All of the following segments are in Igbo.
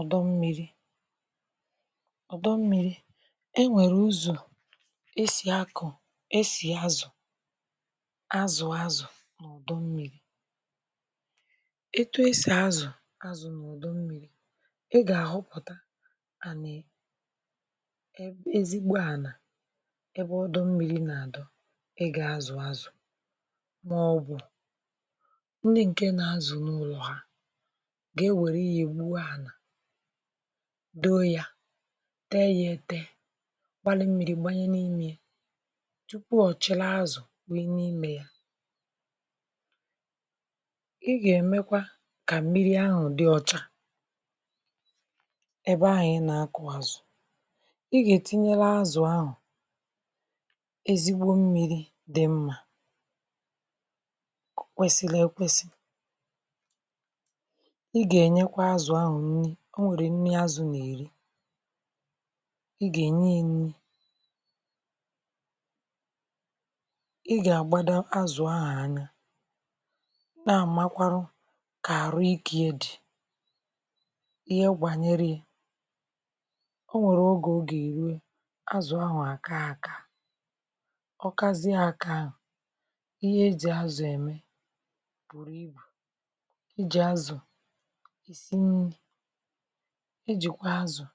Ọdọ̀ mmiri odọ̀ mmiri e nwerè uzọ̀ e sì akọ̀ e sì azụ̀ azụ̀ azụ̀ donyè etù e sì azụ̀ dọnụ̀ ị ga-ahụpụ̀tà ezigbò ànà ebe ọdọ̀ mmiri na-adọ̀ ị ga-azụ̀ azụ̄ maọ̀bụ̀ ndị̀ dị̀ na-azụ̀ n’ụlọ̀ hà ga-ewerè ihe gbuwà ànà dō yà tè yà etè gbarà mmiri, gbanyè n’imè yà tupu ọ chụlà azụ̄ wunyè n’imè yà ị ga-emèkwà kà mmiri ahụ̀ dị̀ ọchà ebe ahụ̀ ị na-akọ̀ azụ̀ ị ga-etìnyelè azụ̄ ahụ̀ ezigbò mmiri dị̀ mmà o kwesìlì ekwesị̀ ị ga-enyèkwà azụ̄ ahụ̀ nnì o nwere nnì azụ̄ na-erì ị ga-enyè yà nnì ị ga-agbadò azụ̄ ahụ̀ anya na-amàkwarụ̀ kà arụ̀ ike yà ndị̀ ihè banyerè yà o nwerè ogè ọ ga-eruè azụ̄ ahụ̀ aka akà ọ kaziè akà ahụ̀ ihe e jì azụ̄ emè e jì azụ̄ um e jikwà azụ̄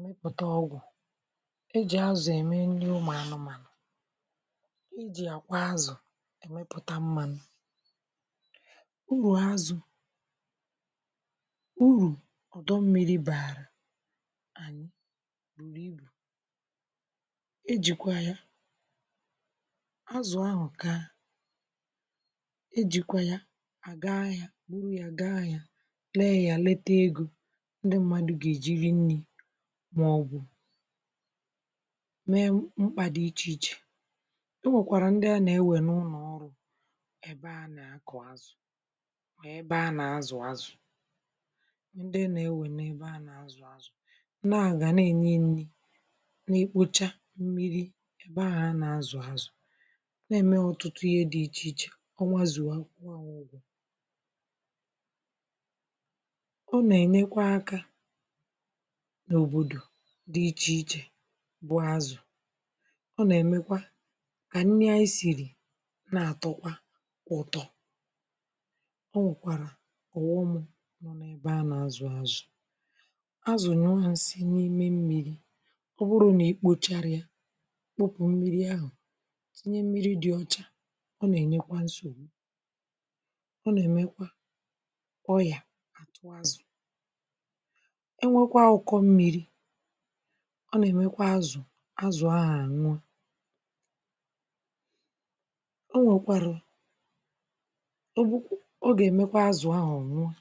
n̄ụtà ọgwụ̀ e jì azụ̄ emè nnì ụmụ̀ anụ̀mànụ̀ dì yà kwà azụ̄ pụtà mmanụ̀ urù azụ̄ urù dọ̀ mmiri baa e jikwà yà azụ̄ ahụ̀ kaa e jikwà yà gaa ahịà burù yà gaa ahịà lee yà letà egō ndị̀ mmadụ̀ ga-ejì rì nnì maọ̀bụ̀ mee m̄kpà dị̀ iche ichè e nwèkwarà ndị̀ ànà ewè n’ụnọ̀ baa a na-azụ̀ azụ̄ ndị̀ a na-enè ewè nee nà aga na-enyè nnì n’ekpochà mmiri m̄gbè ahụ̀ a na-azụ̀ azụ̄ na-emè ọtụtù ihe dị̀ ichè ichè ọnwà zuà ọ na-enyèkwà aka n’òbodò dị̀ iche ichè bụ̀ azụ̄ ọ na-emekwà kà nnì anyị̀ sirì na-atọ̀kwà ụtọ̀ o nwekwarà ọghọmụ̀ ebe a na-azụ̀ azụ̄ azụ̄ nyụà nsị̀ n’imè mmiri ọ bụrụ̀ nà i kpocharà yà kpopù mmiri ahụ̀ tinyè mmiri dị̀ ọchà ọ na-enyèjwà nzogbù ọ na-emèkwà ọyà azụ̄ e nwekwà ụkọ̀ mmiri a na-emèkwà azụ̀ azụ̄ ahụ̀ anwụọ̀ o nwekwarụ̀ ebupù ọ ga-emekwà azụ̄ ahụ̀ ọ nwụọ̀